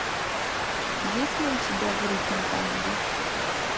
есть ли у тебя в ритме танго